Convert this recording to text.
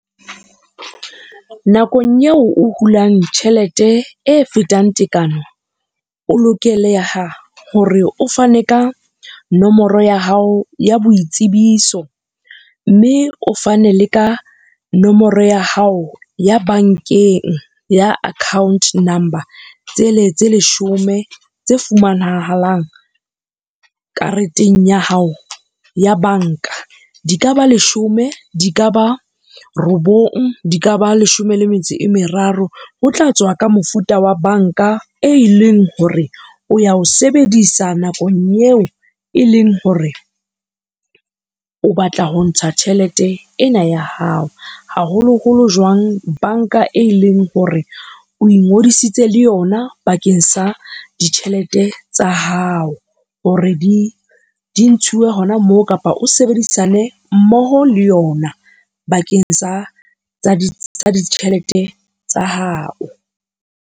Nakong eo o hulang tjhelete e fetang tekano, o lokeleha hore o fane ka nomoro ya hao ya boitsebiso, mme o fane le ka nomoro ya hao ya bankeng ya account number, tsele tse leshome tse fumanahalang kareteng ya hao ya banka. Di ka ba leshome, di ka ba robong, di ka ba leshome le metso e meraro, ho tla tswa ka mofuta wa banka, e leng hore o ya ho sebedisa nakong eo e leng hore o batla ho ntsha tjhelete ena ya hao. Haholoholo jwang banka, e leng hore o ingodisitse le yona bakeng sa ditjhelete tsa hao, hore di ntshiwe hona moo kapa o sebedisane mmoho le yona bakeng sa ditjhelete tsa hao.